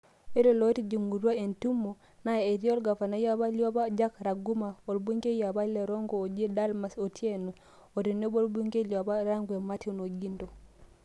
Ore lootijingutua entimo naa etii olgavanai apa liopaa Jack Ranguma, olbungei apa le Rongo oji Dalmas Otieno, otenebo olbungei liopa le Rangwe Martin Ogindo.